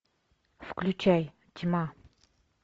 включай тьма